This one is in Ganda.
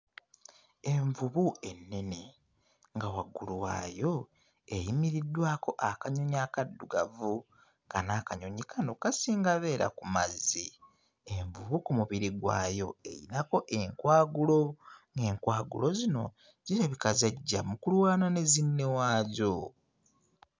Envubu ennene nga waggulu waayo eyimiriddwako akanyonyi akaddugavu nga n'akanyonyi kano kasinga beera ku mazzi envubu ku mubiri gwayo eyinako enkwagulo. Enkwagulo zino zirabika zajja mu kulwana ne zinne waazo.